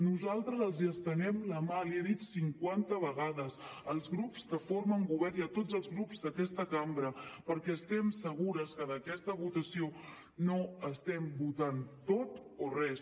nosaltres els estenem la mà l’hi he dit cinquanta vegades als grups que formen govern i a tots els grups d’aquesta cambra perquè estem segures que en aquesta votació no estem votant tot o res